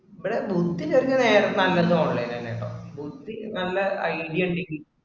നമ്മടെ ബുദ്ധി ചേരണ നേരെ നല്ലതു online ആണ് കേട്ടോ. ബുദ്ധി നല്ല idea കിട്ടി